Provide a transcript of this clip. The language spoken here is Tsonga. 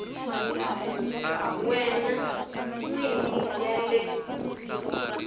wena n wini ya le